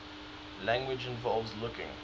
language involves looking